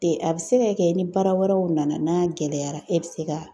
Te a be se ka kɛ ni baara wɛrɛw nana , n'a gɛlɛyara, e be se ka